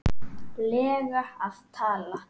lega að tala?